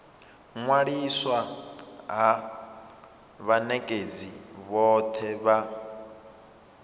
ṅwaliswa ha vhanekedzi vhothe vha